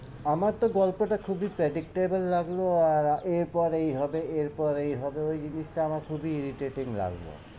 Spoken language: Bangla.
আমার তো গল্পটা খুবই predictable লাগলো আর এরপর এই হবে, এরপর এই হবে ওই জিনিসটা আমার খুবই irritating লাগলো,